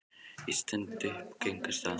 Ég stend upp og geng af stað.